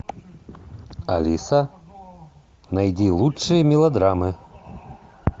алиса найди лучшие мелодрамы